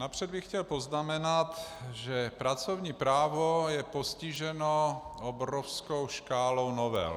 Napřed bych chtěl poznamenat, že pracovní právo je postiženo obrovskou škálou novel.